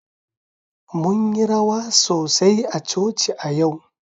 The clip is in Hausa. Mun yi rawa sosai a coci a yau.